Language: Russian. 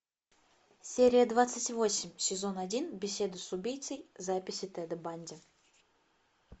серия двадцать восемь сезон один беседы с убийцей записи теда банди